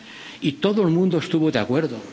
y todo el mundo estuvo de acuerdo.